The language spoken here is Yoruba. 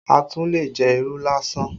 A tún lè jẹ irú lásán